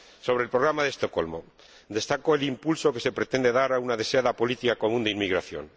En cuanto al Programa de Estocolmo, destaco el impulso que se pretende dar a una deseada política común de inmigración.